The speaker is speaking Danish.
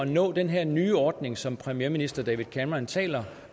nå den her nye ordning som premierminister david cameron taler